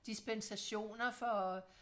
dispensationer for